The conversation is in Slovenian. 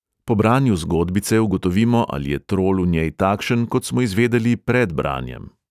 Po branju zgodbice ugotovimo, ali je trol v njej takšen, kot smo izvedeli pred branjem.